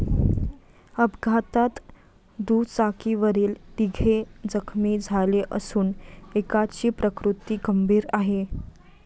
अपघातात दुचाकीवरील तिघे जखमी झाले असून एकाची प्रकृती गंभीर आहे.